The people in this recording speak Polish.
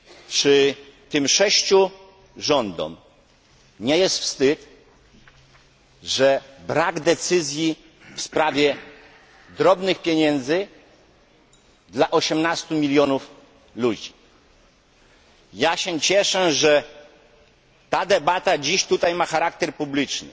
Czy tym sześciu rządom nie jest wstyd, że brak decyzji w sprawie drobnych pieniędzy dla 18 milionów ludzi? Ja się cieszę, że ta debata dziś tutaj ma charakter publiczny.